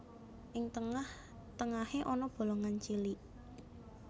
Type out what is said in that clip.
Ing tengah tengahé ana bolongan cilik